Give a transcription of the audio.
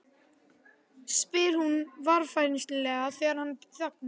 spyr hún varfærnislega þegar hann þagnar.